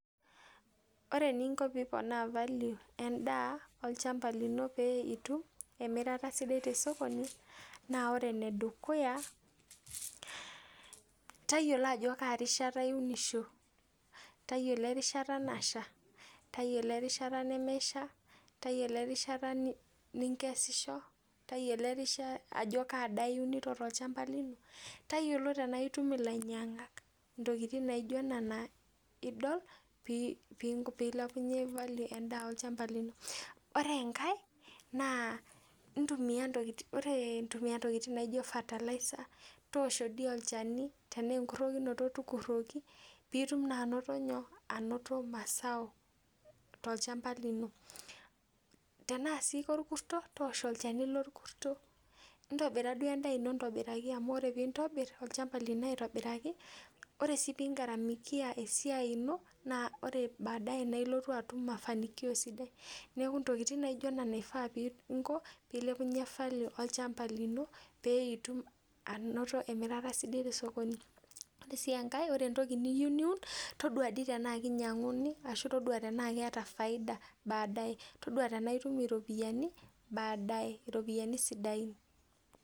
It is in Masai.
Ore eninko piiponaa value endaa olchamba lino pee itum emirata sidai te sokoni naa ore enedukuya, tayiolo ajo kaa rishata iunisho. Tayiolo erishata nasha, tayiolo erishata nemesha, tayiolo erishata ninkesisho, tayiolo ajo kaa daa iunito tolchamba lino, tayiolo tenaitum ilainyang'ak. Intokiting naijo nena idol pee ilepunye value endaa olchamba lino. Ore enkae naa intumia, ore intumia Intokiting naijo fertilizer toosho dii olchani, tenaa enkurrokinoto tukurroki piitum naa anoto nyoo, anoto mazao tolchamba lino. Tenaa sii korkurto, tooshi olchani lorkurto, intobira duo endaa ino aitobiraki amu ore piintobirr olchamba lino aitobiraki, ore sii pee ingaramikia esiai ino naa ore baadaye naa ilotu atum mafanikio sidai. Neeku Intokiting naijo nena ifaa pee inko pee ilepunye value olchamba lino pee itum anoto emirata sidai te sokoni. Ore sii enkae, ore entoki niyieu niun, todua dii tenaa kinyang'uni ashu todua tenaa keeta faida baadaye. Todua tenaitum iropiyiani baadaye iropiyiani sidain